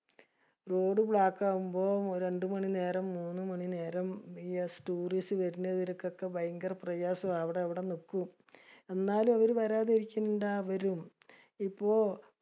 Roadblock ആവുമ്പൊ രണ്ടു മാണി നേരം മൂന്ന് മാണി നേരം tourist വരണവർക്കൊക്കെ ഭയങ്കര പ്രയാസവ. അവിടെഅവിടെ നിക്കും. എന്നാലും അവര് വരാതെ ഇരിക്കിനിണ്ട? വരും. ഇപ്പൊ